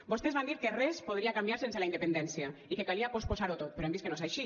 vostès van dir que res podria canviar sense la independència i que calia posposar ho tot però hem vist que no és així